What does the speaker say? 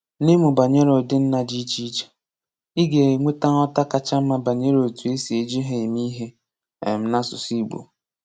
N’ịmụ banyere ụdị nna dị iche iche, ị ga-enweta nghọta kacha mma banyere otu e si eji ha eme ihe um n’asụsụ Igbo.